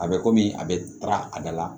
A bɛ kɔmi a bɛ taga a da la